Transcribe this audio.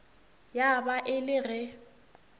ya ba e le ge